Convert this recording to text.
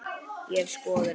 Ég hef skoðun.